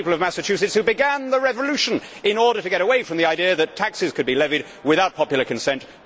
It was the people of Massachusetts who began the revolution in order to get away from the idea that taxes could be levied without popular consent.